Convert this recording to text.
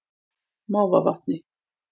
Mávavatni